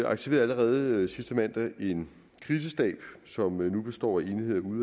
aktiverede allerede sidste mandag en krisestab som nu består af enheder ude